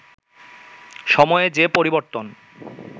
সময়ে যে পরিবর্তন